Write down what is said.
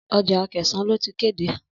Ọjà Akẹ̀sán ló ti kéde.